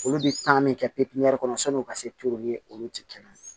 Olu bɛ taa min kɛ pewu pepiniyɛri kɔnɔ sɔnni o ka se olu tɛ kelen ye